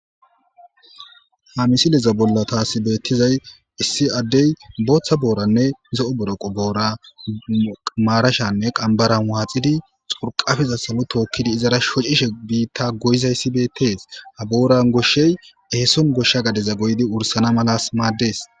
"Ha misileza bolla taas beetizay issi addey bootha booranne zo'o boroqo boora maarashanne qanbbaran waaxidi xurqapeza salo tookidi izara shocishe biita goyizaysi betees ha booran goshshey eeson goshsha gadeza goyidi wurisana madees".